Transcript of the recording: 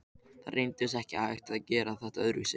Það reyndist ekki hægt að gera þetta öðruvísi.